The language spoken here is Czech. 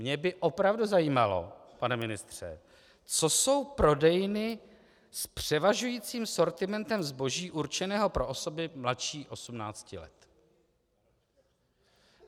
Mě by opravdu zajímalo, pane ministře, co jsou prodejny s převažujícím sortimentem zboží určeného pro osoby mladší 18 let.